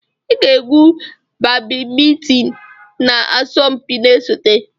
Ị ga-egwu badimintin na asọmpi na-esote!